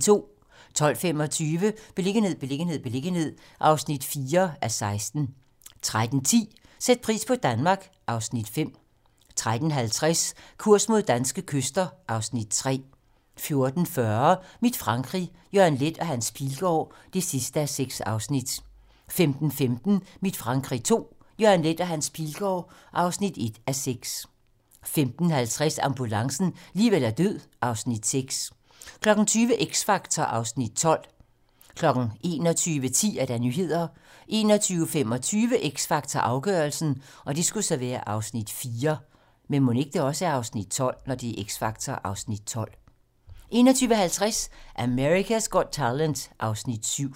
12:25: Beliggenhed, beliggenhed, beliggenhed (4:16) 13:10: Sæt pris på Danmark (Afs. 5) 13:50: Kurs mod danske kyster (Afs. 3) 14:40: Mit Frankrig - Jørgen Leth og Hans Pilgaard (6:6) 15:15: Mit Frankrig II - Jørgen Leth og Hans Pilgaard (1:6) 15:50: Ambulancen - liv eller død (Afs. 6) 20:00: X Factor (Afs. 12) 21:10: Nyhederne 21:25: X Factor - afgørelsen (Afs. 4) 21:50: America's Got Talent (Afs. 7)